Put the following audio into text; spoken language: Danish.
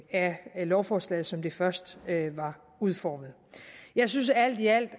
af lovforslaget som det først var udformet jeg synes alt i alt